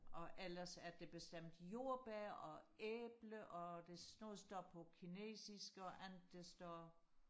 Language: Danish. og ellers er det bestemt jordbær og æble og det noget står på kinesisk og andet det står